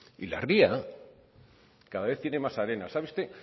y la ría cada vez tiene más arena sabe usted